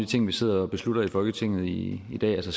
ting vi sidder og beslutter i folketinget i dag altså